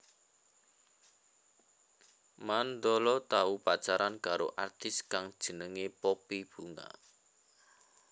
Mandala tau pacaran karo artis kang jenengé Poppy Bunga